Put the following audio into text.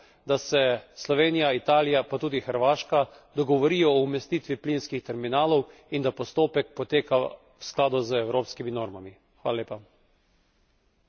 Zato v Sloveniji pričakujemo, da se Slovenija, Italija pa tudi Hrvaška dogovorijo o umestitvi plinskih terminalov in da postopek poteka v skladu z evropskimi normami.